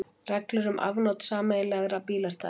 Reglur um afnot sameiginlegra bílastæða.